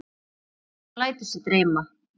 Hún lætur sig dreyma.